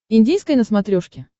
индийское на смотрешке